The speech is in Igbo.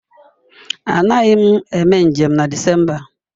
Anaghị m eme njem na Disemba a.